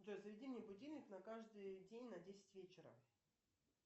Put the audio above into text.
джой заведи мне будильник на каждый день на десять вечера